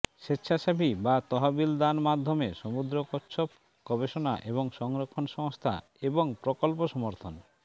স্বেচ্ছাসেবী বা তহবিল দান মাধ্যমে সমুদ্র কচ্ছপ গবেষণা এবং সংরক্ষণ সংস্থা এবং প্রকল্প সমর্থন